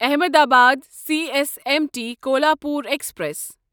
Ahmedabad C S M T Kolhapur express